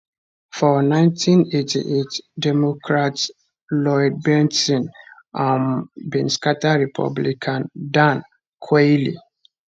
for 1988 democrat lloyd bentsen um bin scata republican dan quayle